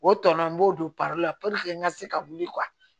O tɔnɔ n b'o don la n ka se ka wuli